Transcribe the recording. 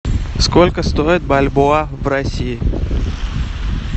сколько стоит бальбоа в россии